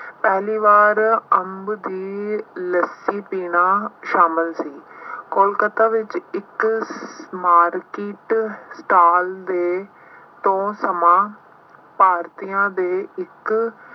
ਪਹਿਲੀ ਵਾਰ ਅੰਬ ਦੀ ਲੱਸੀ ਪੀਣਾ ਸ਼ਾਮਿਲ ਸੀ। ਕੋਲਕੱਤਾ ਵਿੱਚ ਇੱਕ market stall ਦੇ ਤੋਂ ਸਮਾਂ ਭਾਰਤੀਆਂ ਦੇ ਇੱਕ